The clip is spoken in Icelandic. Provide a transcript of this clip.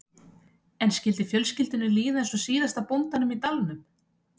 En skyldi fjölskyldunni líða eins og síðasta bóndanum í dalnum?